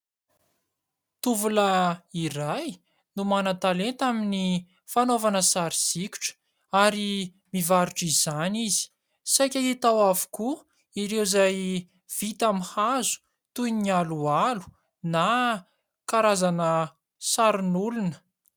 Tovolahy iray no manan-talenta amin'ny fanaovana sary sikotra ary mivarotra izany izy. Saika hita ao avokoa ireo izay vita amin'ny hazo toy ny aloalo na karazana sarin'olona.